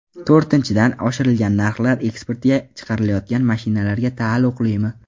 To‘rtinchidan , oshirilgan narxlar eksportga chiqarilayotgan mashinalarga taalluqlimi?